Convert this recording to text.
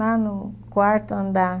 Lá no quarto andar.